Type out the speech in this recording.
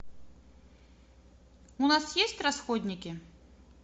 у нас есть расходники